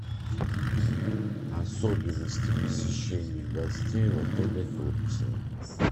особенности посещения гостей в отеле турции